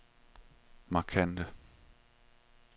markante